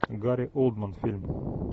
гари олдман фильм